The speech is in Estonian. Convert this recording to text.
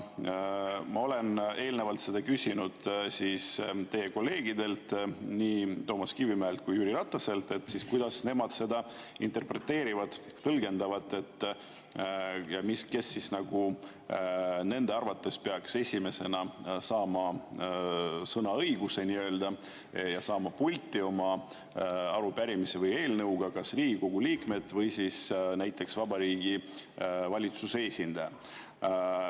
Ma olen eelnevalt küsinud teie kolleegidelt, nii Toomas Kivimäelt kui ka Jüri Rataselt, kuidas nemad seda interpreteerivad, tõlgendavad, kes nende arvates peaks esimesena saama sõnaõiguse ja saama pulti oma arupärimise või eelnõuga, kas Riigikogu liikmed või näiteks Vabariigi Valitsuse esindaja.